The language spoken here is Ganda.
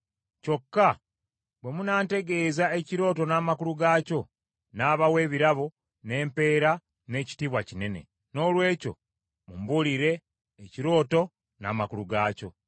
Kyokka bwe munaantegeeza ekirooto n’amakulu gaakyo, nnaabawa ebirabo, n’empeera, n’ekitiibwa kinene. Noolwekyo mumbuulire ekirooto n’amakulu gaakyo.”